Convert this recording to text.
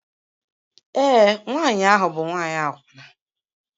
Ee, nwanyị ahụ bụ nwanyị akwụna